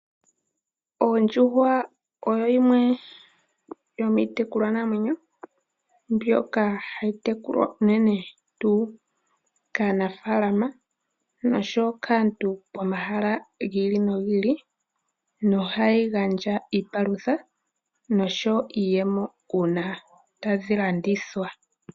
Oondjuhwa oyo yimwe yomiitekulwa namwenyo mbyoka hayi tekulwa tuu kaanafalama noshoyo kaantu pomahala giili nogiili, nohayi gandja iipalutha noshoyo iiyemo uuna tadhi landithwa.